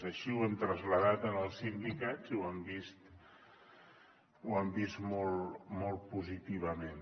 així ho hem traslladat en els sindicats i ho han vist molt positivament